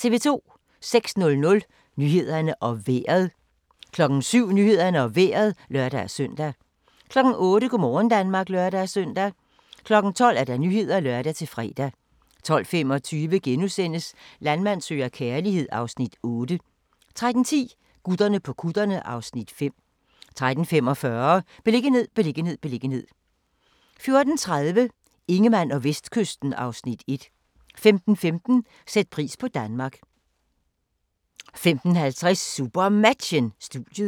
06:00: Nyhederne og Vejret 07:00: Nyhederne og Vejret (lør-søn) 08:00: Go' morgen Danmark (lør-søn) 12:00: Nyhederne (lør-fre) 12:25: Landmand søger kærlighed (Afs. 8)* 13:10: Gutterne på kutterne (Afs. 5) 13:45: Beliggenhed, beliggenhed, beliggenhed 14:30: Ingemann og Vestkysten (Afs. 1) 15:15: Sæt pris på Danmark 15:50: SuperMatchen: Studiet